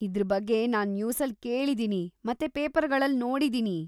ಇದ್ರ ಬಗ್ಗೆ ನಾನ್‌ ನ್ಯೂಸಲ್ಲಿ ಕೇಳಿದೀನಿ ಮತ್ತೆ ಪೇಪರ್ಗಳಲ್ಲಿ ನೋಡಿದೀನಿ.